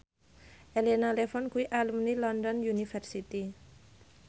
Elena Levon kuwi alumni London University